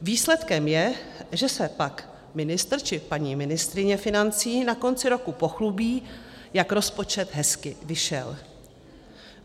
Výsledkem je, že se pak ministr či paní ministryně financí na konci roku pochlubí, jak rozpočet hezky vyšel.